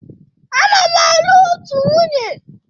Ana m alụ otu nwunye.